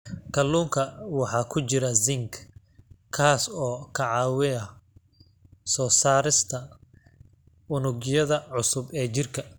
Kalluunka waxaa ku jira zinc, kaas oo ka caawiya soo saarista unugyada cusub ee jirka.